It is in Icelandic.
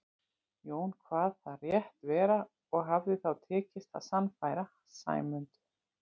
Jón kvað það rétt vera og hafði þá tekist að sannfæra Sæmund.